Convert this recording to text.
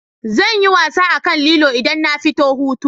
Zanyi wasa akan lilo idan na fito hutu